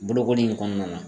Bolokoli in kɔnɔna na.